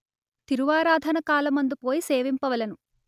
తిరువారాధన కాలమందు పోయి సేవింపవలెను